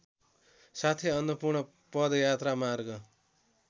साथै अन्नपूर्ण पदयात्रामार्ग